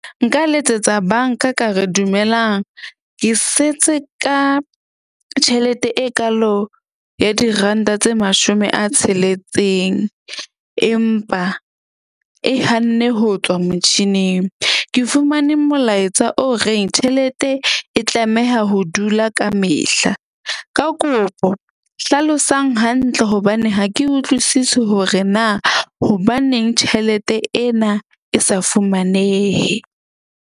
Nka letsetsa bank-a ka re dumelang, ke setse ka tjhelete e kaalo ya diranta tse mashome a tsheletseng. Empa e hanne ho tswa motjhining. Ke fumane molaetsa o reng tjhelete e tlameha ho dula kamehla. Ka kopo hlalosang hantle hobane ha ke utlwisisi hore na hobaneng tjhelete ena e sa fumanehe.